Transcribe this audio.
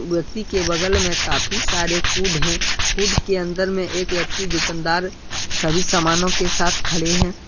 व्यक्ति के बगल में काफी सारे कुड है कुड के अन्दर में एक व्यक्ति दुकानदार सभी सामानों के साथ खड़े है।